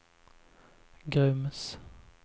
Grums